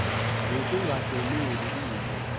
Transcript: nokunga hloneli nto